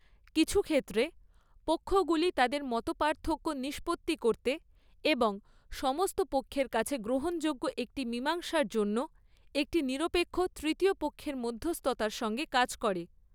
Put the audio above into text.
কিছু ক্ষেত্রে, পক্ষগুলি তাদের মতপার্থক্য নিষ্পত্তি করতে এবং সমস্ত পক্ষের কাছে গ্রহণযোগ্য একটি মীমাংসার জন্য একটি নিরপেক্ষ তৃতীয় পক্ষের মধ্যস্থতার সঙ্গে কাজ করে।